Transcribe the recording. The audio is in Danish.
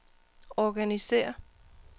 organisér